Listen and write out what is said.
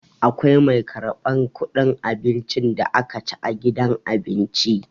Akwai mai karɓar ƙuɗin abincin da aka ci a gidan abinci.